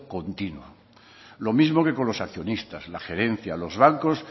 continuo lo mismo que con los accionistas la gerencia los bancos